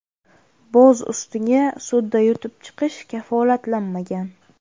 Boz ustiga sudda yutib chiqish kafolatlanmagan.